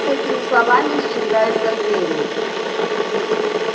с этими словами исчезают за дверью